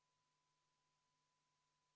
Küsimus on pigem juhatajas, et liiga aeglaselt liigume.